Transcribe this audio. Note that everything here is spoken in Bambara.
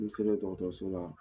N'i sera dɔgɔtɔrɔso la,